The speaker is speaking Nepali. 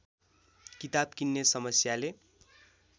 किताब किन्ने समस्याले